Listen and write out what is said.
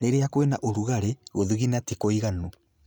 Rĩrĩa kwĩna ũrugarĩ, gũthigina ti kũiganu.